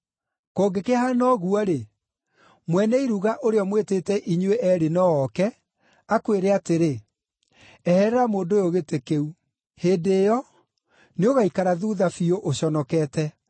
Kũngĩkĩhaana ũguo-rĩ, mwene iruga ũrĩa ũmwĩtĩte inyuĩ eerĩ no ooke, akwĩre atĩrĩ, ‘Eherera mũndũ ũyũ gĩtĩ kĩu.’ Hĩndĩ ĩyo, nĩũgaaikara thuutha biũ ũconokete.